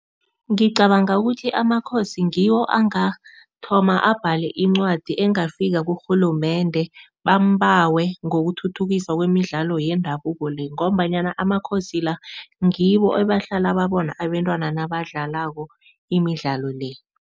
Ngicabanga ukuthi amaKhosi ngiwo angathoma abhale incwadi engafika kurhulumende, bambawe ngokuthuthukisa kwemidlalo yendabuko le ngombanyana amaKhosi la ngibo ebahlala babona abentwana nabadlalako imidlalo le.